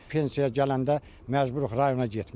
Pensiyaya gələndə məcburuq rayona getməyə.